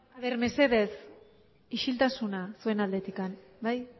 a ver mesedez isiltasuna zuen aldetik bai